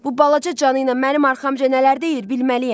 Bu balaca canı ilə mənim arxamca nələr deyir bilməliyəm.